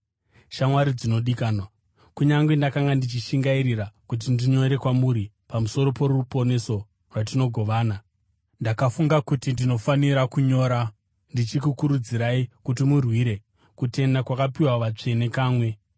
Shamwari dzinodikanwa, kunyange ndakanga ndichishingairira kuti ndinyore kwamuri pamusoro poruponeso rwatinogovana, ndakafunga kuti ndinofanira kunyora ndichikukurudzirai kuti murwire kutenda kwakapiwa vatsvene kamwe.